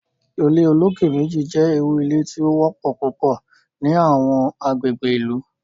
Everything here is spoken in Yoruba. ilé olokè méjì jé ìrù ilé tí o wópò púpọ ní Àwọn agbègbè ìlú